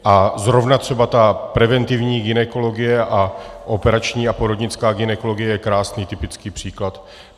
A zrovna třeba ta preventivní gynekologie a operační a porodnická gynekologie je krásný typický příklad.